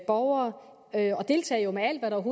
borgere og jo deltage med alt hvad der